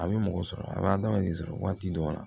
A bɛ mɔgɔ sɔrɔ a b'adamaden sɔrɔ waati dɔw la